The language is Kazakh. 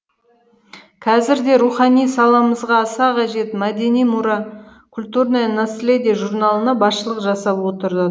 қазір де рухани саламызға аса қажет мәдени мұра культурное наследие журналына басшылық жасап отырды